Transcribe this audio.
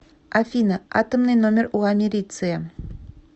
афина атомный номер у америция